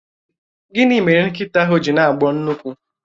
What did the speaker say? Gịnị mere nkịta ahụ ji na-agbọ nnukwu?